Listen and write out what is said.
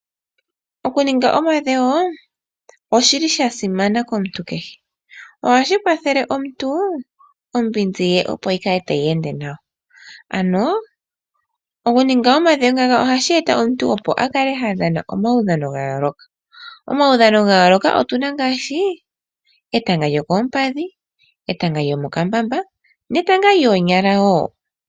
Okuninga omadhewo oshili sha simana komuntu kehe, ohashi kwathele omuntu ombinzi ye opo yi kale tayi ende nawa. Ano okuninga omadhewo ngaka ohashi eta omuntu opo a kale ha dhana omaudhano ga yooloka. Omaudhano ga yooloka otuna ngaashi etanga lyokompadhi, etanga lyomokambamba netanga lyoonyala wo.